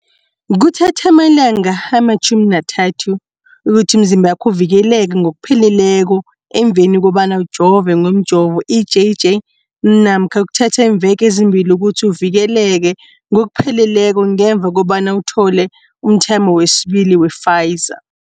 Kuthatha amalanga ama-30 ukuthi umzimbakho uvikeleke ngokupheleleko emveni kobana ujove ngomjovo i-JJ namkha kuthatha iimveke ezimbili ukuthi uvikeleke ngokupheleleko ngemva kobana uthole umthamo wesibili wePfizer.